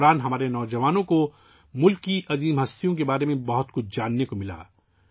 اس دوران ہمارے نوجوانوں کو ملک کی عظیم شخصیات کے بارے میں بہت کچھ جاننے کا موقع ملا